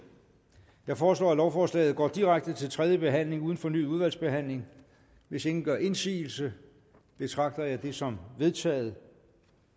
jeg foreslår at lovforslaget går direkte til tredje behandling uden fornyet udvalgsbehandling hvis ingen gør indsigelse betragter jeg det som vedtaget